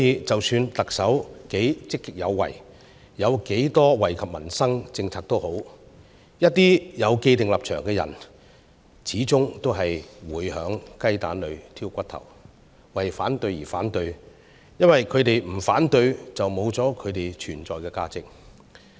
即使特首多麼積極有為，推出了不少惠及民生的政策，一些有既定立場的人，始終會在雞蛋裏挑骨頭，為反對而反對，因為他們不反對便會喪失他們存在的價值。